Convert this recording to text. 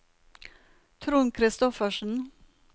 Trond Kristoffersen